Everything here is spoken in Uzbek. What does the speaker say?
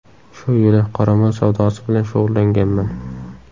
Shu yili qoramol savdosi bilan shug‘ullanganman.